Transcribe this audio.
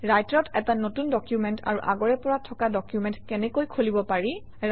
ৰাইটাৰত এটা নতুন ডকুমেণ্ট আৰু আগৰে পৰা থকা ডকুমেণ্ট কেনেকৈ খুলিব পাৰি